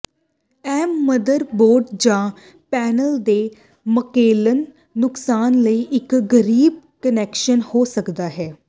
ਇਹ ਮਦਰਬੋਰਡ ਜਾਂ ਪੈਨਲ ਦੇ ਮਕੈਨੀਕਲ ਨੁਕਸਾਨ ਲਈ ਇੱਕ ਗਰੀਬ ਕਨੈਕਸ਼ਨ ਹੋ ਸਕਦਾ ਹੈ